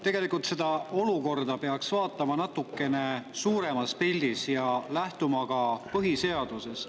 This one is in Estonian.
Tegelikult peaks seda olukorda vaatama natuke suuremas pildis ja lähtuma ka põhiseadusest.